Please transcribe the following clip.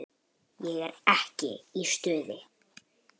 Ég er ekki í stuði.